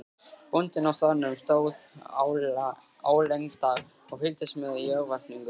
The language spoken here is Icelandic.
Bóndinn á staðnum stóð álengdar og fylgdist með í örvæntingu.